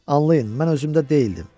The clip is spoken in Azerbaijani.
Anlayın, mən özümdə deyildim.